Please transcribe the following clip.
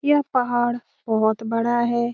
यह पहाड़ बोहोत बड़ा है।